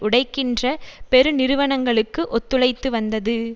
உடைக்கின்ற பெருநிறுவனங்களுக்கு ஒத்துழைத்து வந்தது